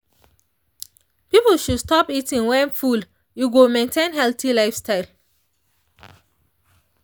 people should stop eating when full e go maintain healthy lifestyle